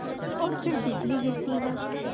और फिर बिजली गिरती है